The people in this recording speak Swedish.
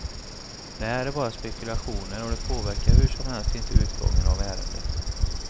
Det här är bara spekulationer och det påverkar hur som helst inte utgången av ärendet.